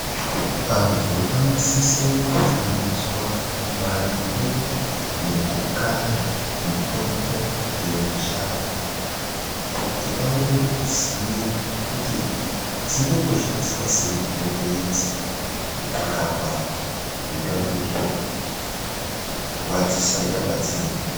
Antu anosisa kufundiswa maringe nekukaya mitombo yemushango kuti vaone kuziya kuti dzinomboshandiswa sei mitombo idzi mukurapa zvingange zvichirwadzisa nyama dzedu.